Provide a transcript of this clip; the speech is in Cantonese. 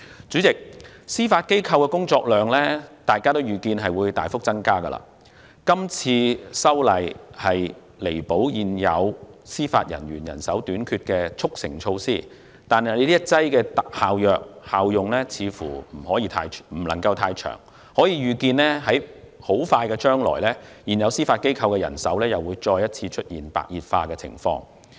主席，大家預見司法機構的工作量會大幅增加，這次修訂是彌補現有司法人員人手短缺的速成措施，但這一劑特效藥的效用似乎不會太長，我們可以預見的是，在不久將來，現有司法機構的人手問題會再次出現白熱化情況。